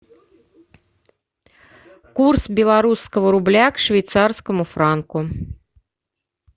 курс белорусского рубля к швейцарскому франку